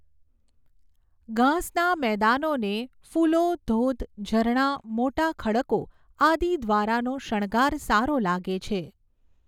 ઘાસના મેદાનોને ફુલો ધોધ ઝરણાં મોટા ખડકો આદિ દ્વારાનો શણગાર સારો લાગે છે.